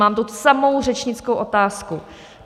Mám tu samou řečnickou otázku.